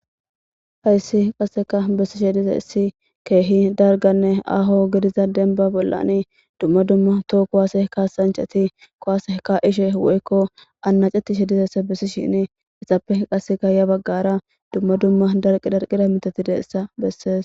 hayssi qasseka bessishe dize issi keehi darganne aaho gidiza denba bollani dumma dumma too kowaase ka sanceti kowaase ka ishe woykko annacetishe dizessa bessi shini issappe qasseka ya baggara dumma dumma darqi darqida mitatideessa bessees